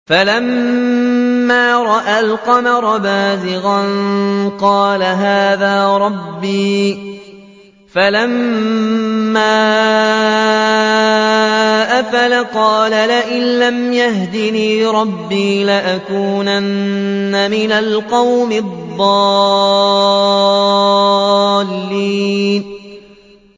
فَلَمَّا رَأَى الْقَمَرَ بَازِغًا قَالَ هَٰذَا رَبِّي ۖ فَلَمَّا أَفَلَ قَالَ لَئِن لَّمْ يَهْدِنِي رَبِّي لَأَكُونَنَّ مِنَ الْقَوْمِ الضَّالِّينَ